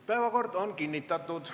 Päevakord on kinnitatud.